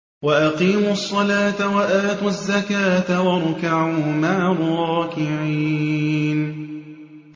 وَأَقِيمُوا الصَّلَاةَ وَآتُوا الزَّكَاةَ وَارْكَعُوا مَعَ الرَّاكِعِينَ